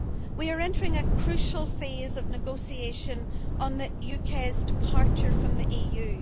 We are entering a crucial phase of negotiation on the UK's departure from the EU.